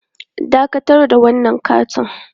Dakatar da wannan ƙaton!